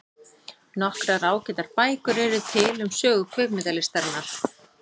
Nokkrar ágætar bækur eru til um sögu kvikmyndalistarinnar.